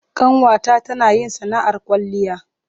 Ƙanwata tana yin sana'ar kwalliya.